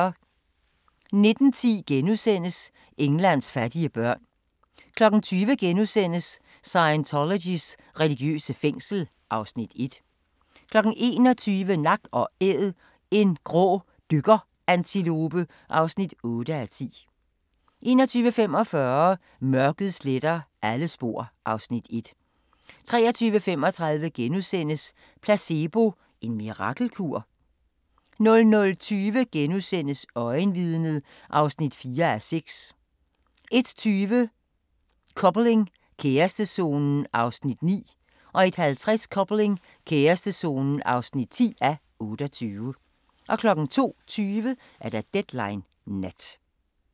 19:10: Englands fattige børn * 20:00: Scientologys religiøse fængsel (Afs. 1)* 21:00: Nak & Æd – en grå dykkerantilope (8:10) 21:45: Mørket sletter alle spor (Afs. 1) 23:35: Placebo – en mirakelkur? * 00:20: Øjenvidnet (4:6)* 01:20: Coupling – kærestezonen (9:28) 01:50: Coupling – kærestezonen (10:28) 02:20: Deadline Nat